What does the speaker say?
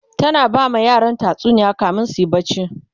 tana bama yaran tatsuniya kamin suyi barci